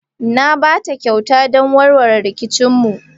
Na ba ta kyauta don warware rikicinmu.